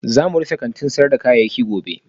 Za mu rufe kantin sayar da kayayyaki gobe